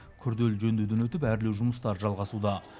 күрделі жөндеуден өтіп әрлеу жұмыстары жалғасуда